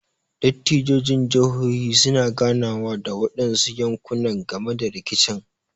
Dattijon jihohi su na ganawa da waɗansu yanƙuna game da riƙicin.